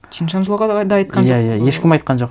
чиншанлоға да айтқан жоқ иә иә ешкім айтқан жоқ